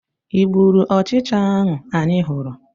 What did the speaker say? ị gburu ọchịcha ahụ anyị hụrụ?